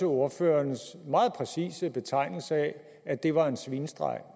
ordførerens meget præcise betegnelse af at det var en svinestreg